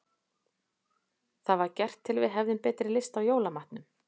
Það var gert til að við hefðum betri lyst á jólamatnum.